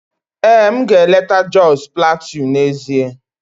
Ee, m ga-eleta Jos Plateau n'ezie